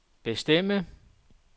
bestemme